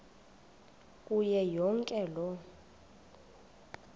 kuyo yonke loo